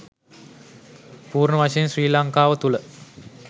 පූර්ණ වශයෙන් ශ්‍රී ලංකාව තුල